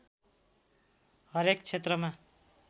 हरेक क्षेत्रमा